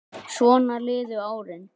Svona liðu árin.